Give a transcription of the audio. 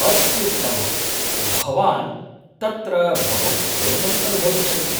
अत्युत्तमं; भवान् तत्र बहु विनोदम् अनुभविष्यति।